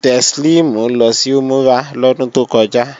Teslimu lọ sí Umurah lọ́dún tó kọjá